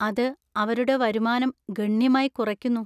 അത് അവരുടെ വരുമാനം ഗണ്യമായി കുറയ്ക്കുന്നു.